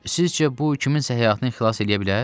Sizcə bu kiminsə həyatını xilas eləyə bilər?